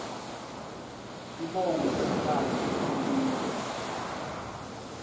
sibongo semntfwana sehlukile